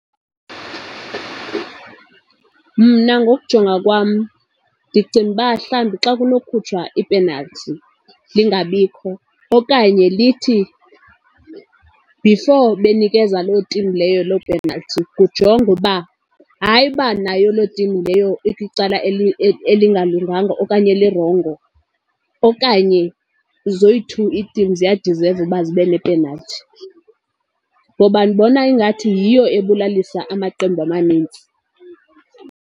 Mna ngokujonga kwam ndicinga uba mhlawumbi xa kunokhutshwa ipenalthi lingabikho okanye lithi before benikeza loo tim leyo loo penalti kujongwe uba hayi, uba nayo loo tim leyo ikwicala elingalunganga okanye elirongo, okanye zoyi-two itim ziyadizeva uba zibe nepenalthi. Ngoba ndibona ingathi yiyo ebulalisa amaqembu amanintsi.